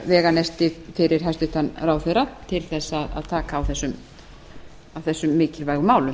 veganesti fyrir hæstvirtan ráðherra til þess að taka á þessum mikilvægu málum